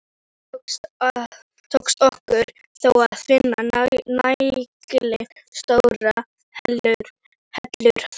Ekki tókst okkur þó að finna nægilega stórar hellur þar.